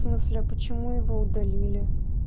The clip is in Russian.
смысле а почему его удалили